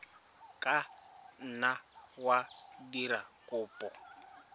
ka nna wa dira kopo